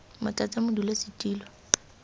motlatsamodulasetulo